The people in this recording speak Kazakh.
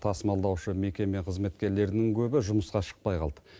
тасымалдаушы мекеме қызметкерлерінің көбі жұмысқа шықпай қалды